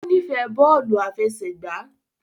O n'ifẹ bóòlù àfẹsẹ̀gbá